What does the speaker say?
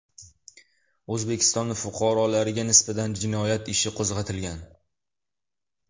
O‘zbekiston fuqarolariga nisbatan jinoyat ishi qo‘zg‘atilgan.